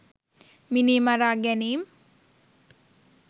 මිනී මරා ගැනීම්